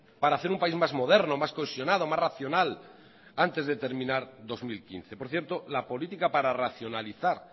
para hacer un país más moderno más cohesionado más racional antes de terminar dos mil quince por cierto la política para racionalizar